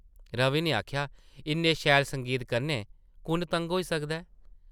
रवि नै आखेआ ,‘‘ इन्ने शैल संगीत कन्नै कुʼन तंग होई सकदा ऐ ।’’